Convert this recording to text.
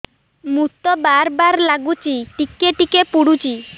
ମୁତ ବାର୍ ବାର୍ ଲାଗୁଚି ଟିକେ ଟିକେ ପୁଡୁଚି